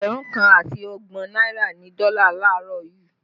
Ẹgbẹ̀rún kan àti ọgbọ̀n náírà ni dọ́là laarọ yuu